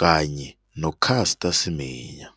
kanye no-Caster Seminya.